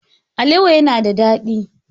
Alewa yana da dadi.